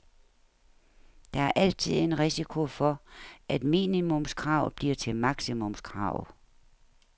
Der er altid en risiko for, at minimumskrav bliver til maksimumskrav.